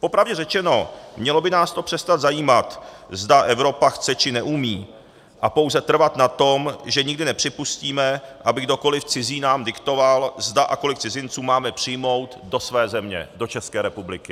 Popravdě řečeno, mělo by nás to přestat zajímat, zda Evropa chce, či neumí, a pouze trvat na tom, že nikdy nepřipustíme, aby kdokoli cizí nám diktoval, zda a kolik cizinců máme přijmout do své země, do České republiky.